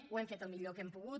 ho hem fet el millor que hem pogut